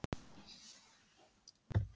námi við HA.